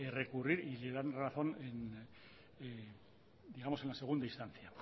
recurrir y le dan razón digamos en la segunda instancia